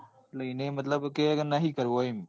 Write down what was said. એને મતલબ કે નહિ કરવો એમ.